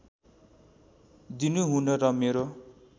दिनु हुन र मेरो